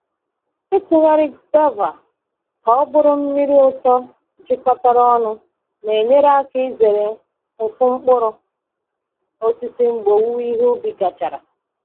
Ịtụgharị guava ka ọ bụrụ mmiri ụtọ jikọtara ọnụ na-enyere aka izere mfu mkpụrụ osisi mgbe owuwe ihe ubi gachara.